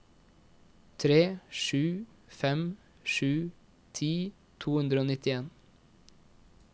tre sju fem sju ti to hundre og nittien